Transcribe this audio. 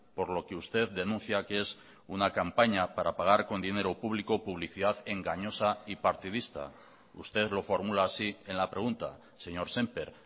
por lo que usted denuncia que es una campaña para pagar con dinero público publicidad engañosa y partidista usted lo formula así en la pregunta señor sémper